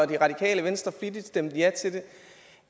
det radikale venstre flittigt stemte ja til det